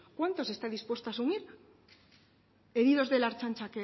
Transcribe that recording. cuántos está dispuesta a asumir heridos de la ertzantza